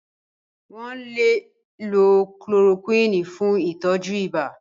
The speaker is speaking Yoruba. Wọ́n lè lo kulorokúìnì fún ìtọ́jú ibà.